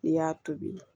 N'i y'a tobi